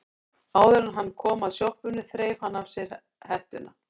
Áður en hann kom að sjoppunni þreif hann af sér hettuna.